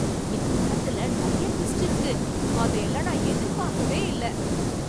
இந்த படத்துல நிறைய டுவிஸ்டு இருக்கு! அதையெல்லாம் நான் எதிர்பார்க்கவே இல்ல.